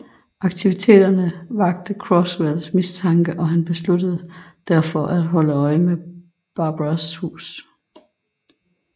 Aktiviteterne vakte Croswells mistanke og han besluttede derfor at holde øje med Barbaras hus